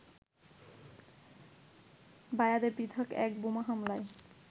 বায়াতে পৃথক এক বোমা হামলায়